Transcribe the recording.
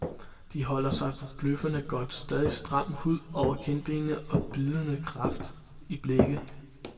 De holder sig forbløffende godt, stadig stram hud over kindbenet og bydende kraft i blikket.